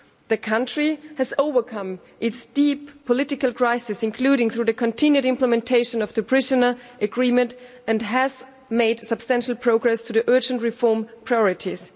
The country has overcome its deep political crises, including through the continued implementation of the Prespa Agreement, and has made substantial progress on the urgent reform priorities.